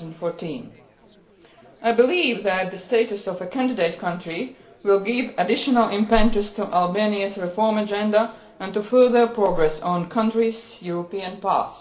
2014. I believe that the status of a candidate country will give additional impetus to Albania's reform agenda and to further progress on the country's European path.